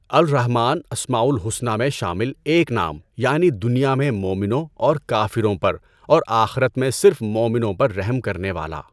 الرحمٰن اسماءُ الحسنی میں شامل ایک نام یعنی دنیا میں مومنوں اور کافروں پر اور آخرت میں صرف مؤمنوں پر رحم کرنے والا۔